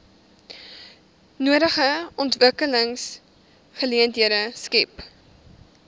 nodige ontwikkelingsgeleenthede skep